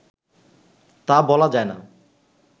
তা বলা যায়না